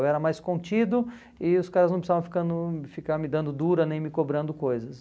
Eu era mais contido e os caras não precisavam ficar no ficar me dando dura nem me cobrando coisas.